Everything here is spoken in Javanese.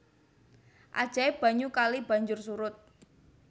Ajaib banyu kali banjur surut